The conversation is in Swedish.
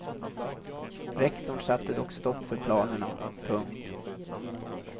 Rektorn satte dock stopp för planerna. punkt